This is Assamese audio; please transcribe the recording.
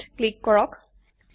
অক ক্লিক কৰক